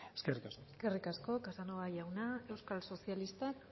eskerrik asko eskerrik asko casanova jauna euskal sozialistak